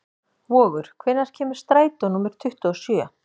Vogur, hvenær kemur strætó númer tuttugu og sjö?